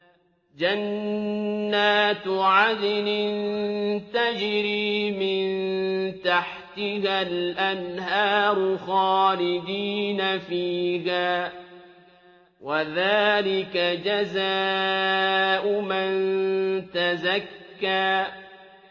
جَنَّاتُ عَدْنٍ تَجْرِي مِن تَحْتِهَا الْأَنْهَارُ خَالِدِينَ فِيهَا ۚ وَذَٰلِكَ جَزَاءُ مَن تَزَكَّىٰ